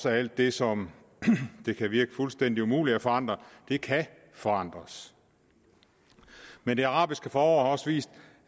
alt det som det kan virke fuldstændig umuligt at forandre kan forandres men det arabiske forår har også vist